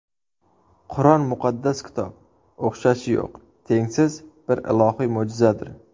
Qur’on muqaddas kitob, o‘xshashi yo‘q, tengsiz bir ilohiy mo‘jizadir.